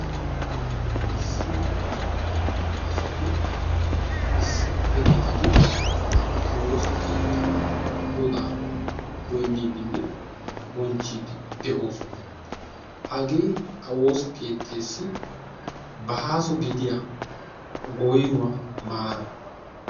issi woossa keetta asati issippe gidid bantta woosa keetta bonchidi de'oosona. hagee ha woossa keetteessi goynnuwa maara.